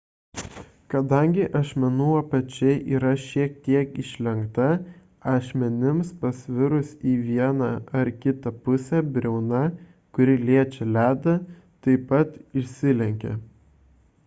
kadangi ašmenų apačia yra šiek tiek išlenkta ašmenims pasvirus į vieną ar kitą pusę briauna kuri liečia ledą taip pat išsilenkia